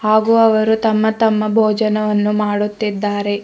ಹಾಗೂ ಅವರು ತಮ್ಮ ತಮ್ಮ ಭೋಜನವನ್ನು ಮಾಡುತ್ತಿದ್ದಾರೆ.